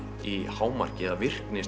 í hámarki eða virkni